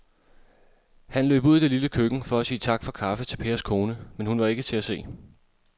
Han løb ud i det lille køkken for at sige tak for kaffe til Pers kone, men hun var ikke til at se.